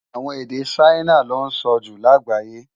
Awòn ede Ṣaina lò nsò jú lágbáyé